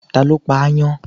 Ta ló pa ááyán?